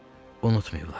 Unutmayıblar.